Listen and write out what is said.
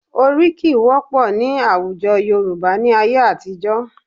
Oríkì wọ́pọ̀ ní àwùjọ Yorùbá ní ayé àtijọ́